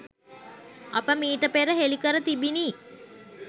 අප මීට පෙර හෙළිකර තිබිනි